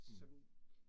Mh